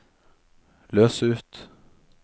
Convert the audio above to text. løs ut